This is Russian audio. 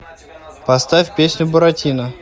поставь песню буратино